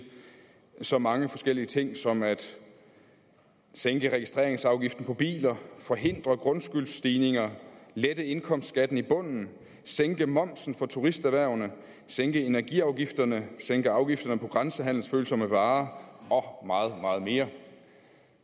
så mange forskellige ting som at sænke registreringsafgiften på biler forhindre grundskyldsstigninger lette indkomstskatten i bunden sænke momsen for turisterhvervene sænke energiafgifterne sænke afgifterne på grænsehandelsfølsomme varer og meget meget mere